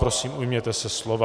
Prosím, ujměte se slova,.